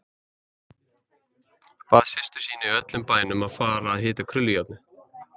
Bað systur sína í öllum bænum að fara að hita krullujárnið.